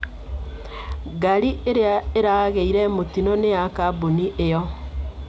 Ngari ĩrĩa ĩragĩire mũtino nĩ ya kambuni ĩyo.